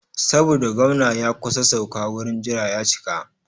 Saboda gwamna ya kusa sauka wurin jira ya cika.